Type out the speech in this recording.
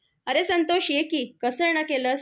अरे संतोष, ये की. कसं येणं केलंस?